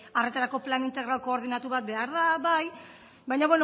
arretarako plan integral koordinatu bat behar da bai baina